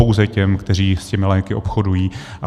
Pouze těm, kteří s těmi léky obchodují.